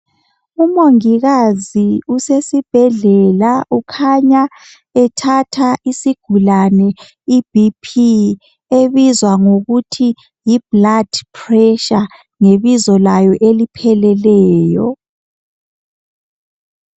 UMongikazi usesibhedlela ukhanya ethatha isigulane iBP ebizwa ngokuthi yiBlood pressure ngebizo layo elipheleleyo.